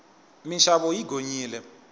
minxavo yi gonyile